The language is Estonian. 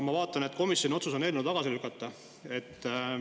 Ma vaatan, et komisjoni otsus on eelnõu tagasi lükata.